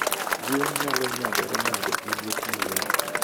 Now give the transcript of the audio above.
Gwen nyalo nyagore nade gi liet mang'eny?